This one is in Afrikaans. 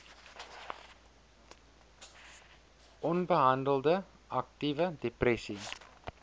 onbehandelde aktiewe depressie